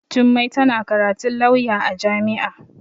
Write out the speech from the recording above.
Jummai tana karatun lauya a jami'a.